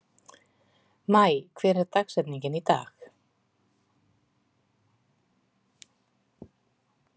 Maj, hver er dagsetningin í dag?